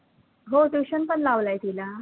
हो tuition पण लावलयं तीला